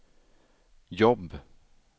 jobb